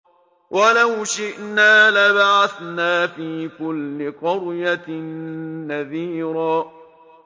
وَلَوْ شِئْنَا لَبَعَثْنَا فِي كُلِّ قَرْيَةٍ نَّذِيرًا